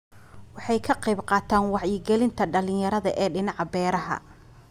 Waxay ka qayb qaataan wacyi gelinta dhalinyarada ee dhinaca beeraha.